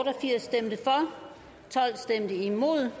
firs imod